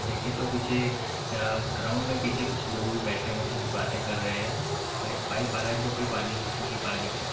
देखे तो पीछे अ ग्राउंड में पीछे कुछ लोग भी बैठे हुए है जो कि बात कर रहे है और एक पाइप आ रहा है जो कि पानी जिसमें ये पानी निकलता--